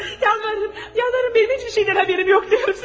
Yanarım, yanarım, mən heç bir şeydən xəbərim yox deyirəm sizə!